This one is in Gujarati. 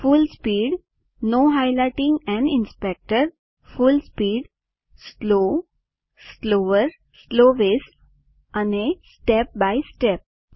full speed full speed slow slower slowest અને step by સ્ટેપ